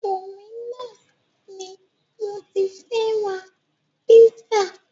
Dominos ni mo ti fẹ́ ra pizza.